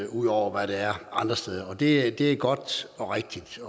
ud over hvad der er andre steder og det er det er godt og rigtigt